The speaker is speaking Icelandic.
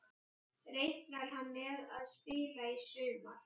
Reiknar hann með að spila í sumar?